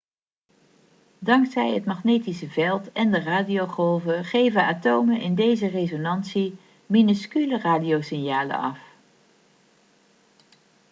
dankzij het magnetische veld en de radiogolven geven atomen in deze resonantie minuscule radiosignalen af